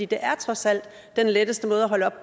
det er trods alt den letteste måde at holde op